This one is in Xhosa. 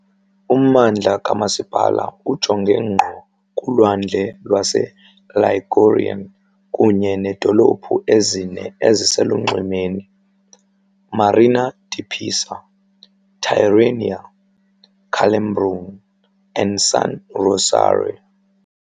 Ummandla kamasipala ujonge ngqo kuLwandle lwaseLigurian kunye needolophu ezine eziselunxwemeni, Marina di Pisa, Tirrenia, Calambrone and San Rossore.